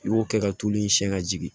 I b'o kɛ ka tulu siyɛn ka jigin